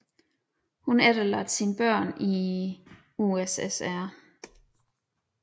Hun efterlod sine voksne børn i USSR